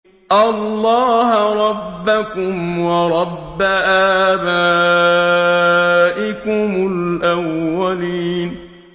اللَّهَ رَبَّكُمْ وَرَبَّ آبَائِكُمُ الْأَوَّلِينَ